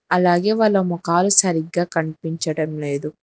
అలాగే వాళ్ళ మొఖాలు సరిగ్గా కనిపించడం లేదు.